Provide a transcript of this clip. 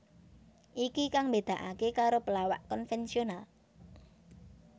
Iki kang mbedakaké karo pelawak konvensional